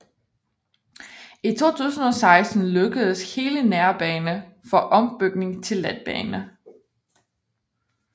I 2016 lukkedes hele nærbane for ombygning til letbane